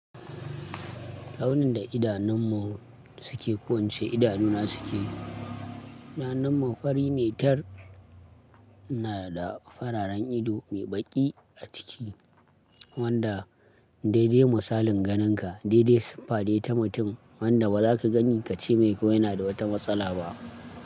Launin da idanunmu suke kowance idanu na suke. Idanunmu fari ne tar ina da fararen ido mai baki a ciki wanda daidai misalin ganinka. Daidai siffa dai ta mutum wanda baza ka gani ka ce mai ko yana da wata matsala ba.